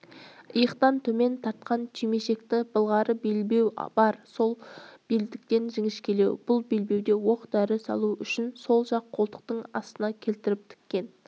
иықтан төмен тартқан түймешекті былғары белбеу бар ол белдіктен жіңішкелеу бұл белбеуде оқ-дәрі салу үшін сол жақ қолтықтың астына келтіріп тіккен